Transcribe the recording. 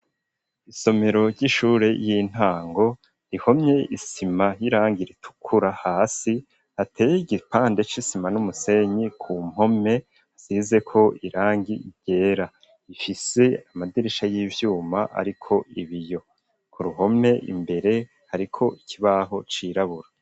Isomero ry'ishure ry'intango rihomye isima n'irangi ritukura hasi hateye igipande c'isima n'umusenyi ku mpome asize ko irangi ryera ifise amadirisha y'ivyuma ariko ibiyo ku ruhome imbere ariko ikibaho cirabura.